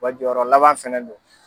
wa jɔyɔrɔ laban fana don.